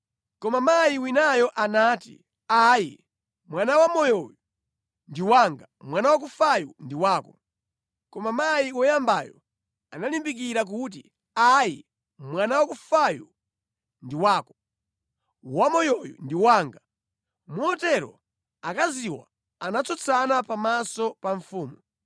Koma mayi winayo anati, “Ayi! Mwana wamoyoyu ndi wanga, mwana wakufayu ndi wako.” Koma mayi woyambayo analimbikira kuti. “Ayi! Mwana wakufayu ndi wako; wamoyoyu ndi wanga.” Motero akaziwa anatsutsana pamaso pa mfumu.